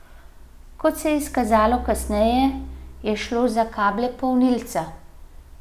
Kot se je izkazalo kasneje, je šlo za kable polnilca.